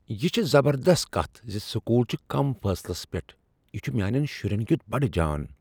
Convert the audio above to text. "یِہ چھ زبردست کتھ زِ سکول چھ کم فٲصلس پیٹھ یِہ چھ میانین شُرین کیُت بڈٕ جان"